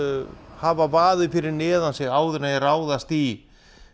hafa vaðið fyrir neðan sig áður en þau ráðast í